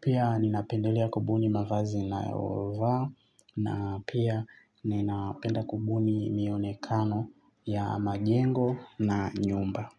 Pia ninapendelea kubuni mavazi nayovaa na pia ninapenda kubuni mionekano ya majengo na nyumba.